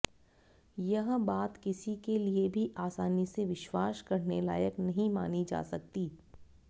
यह बात किसी के लिए भी आसानी से विश्वास करने लायक नहीं मानी जा सकती